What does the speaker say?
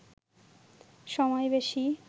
সময় বেশি